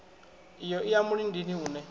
iyo i ya mulindini une